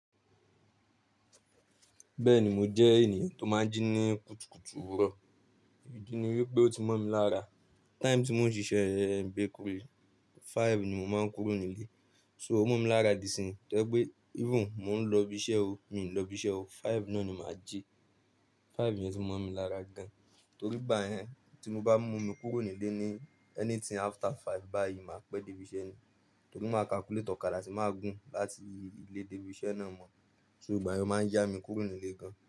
Bẹ́ẹ̀ni mo jẹ́ ènìyàn tó máa ń jí ní kùtùkùtù òwúrọ̀, ìdí ni wípé ó ti mọ̀ mi lára. Time tí mo ń ṣiṣẹ́ bakery, five ni mo máa ń kúrò nílé. So ó mọ̀ mi lára dísìn pé gbí, even mò ń lọ ibi iṣẹ́ o, mi ò lọ ibi iṣẹ́ o, five náà ni mà á jí. Five ni ó ti mọ̀ mi lára gan, torí bá yẹn tí mo bá mú mi kúrò nílé ní anything after five báyìí, máa pẹ́ dé ibi iṣẹ́ ni. Torí màá calculate ọ̀kadà tí màá gún láti ilé dé ibi iṣẹ́ náà mọ̀. So ìgbà yẹn máa ń yá mi kúrò nílé gan.